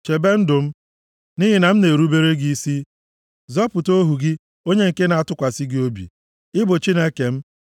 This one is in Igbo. Chebe ndụ m, nʼihi na m na-erubere gị isi; zọpụta ohu gị onye nke na-atụkwasị gị obi. Ị bụ Chineke m;